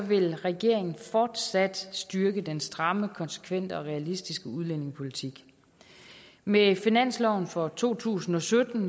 vil regeringen fortsat styrke den stramme konsekvente og realistiske udlændingepolitik med finansloven for to tusind og sytten